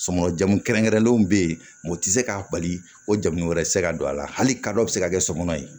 Sɔngɔ jamu kɛrɛnkɛrɛnlenw bɛ yen o tɛ se k'a bali o jamu wɛrɛ tɛ se ka don a la hali kadɔ bɛ se ka kɛ sokɔnɔ ye